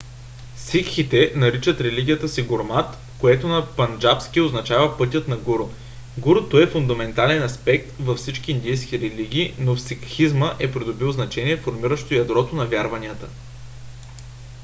сикхите наричат религията си гурмат което на панджабски означава пътят на гуру . гуруто е фундаментален аспект във всички индийски религии но в сикхизма е придобил значение формиращо ядрото на вярванията